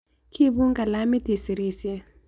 Kiipun kalamit isirisye.